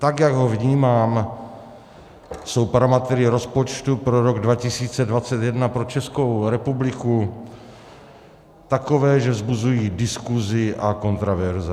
Tak jak ho vnímám, jsou parametry rozpočtu pro rok 2021 pro Českou republiku takové, že vzbuzují diskusi a kontroverze.